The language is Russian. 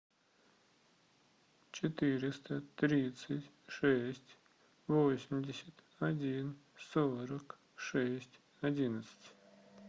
четыреста тридцать шесть восемьдесят один сорок шесть одиннадцать